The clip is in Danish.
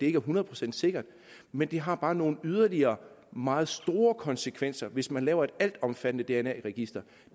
er hundrede procent sikkert men det har bare nogle yderligere meget store konsekvenser hvis man laver et altomfattende dna register